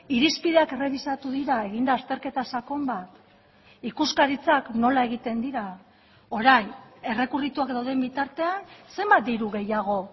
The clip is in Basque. irizpideak errebisatu dira egin da azterketa sakon bat ikuskaritzak nola egiten dira orain errekurrituak dauden bitartean zenbat diru gehiago